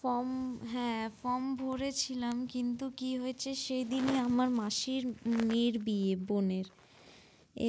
Form হ্যাঁ form ভরেছিলাম, কিন্তু কি হয়েছে সেদিনই আমার মাসির মেয়ের বিয়ে বোনের।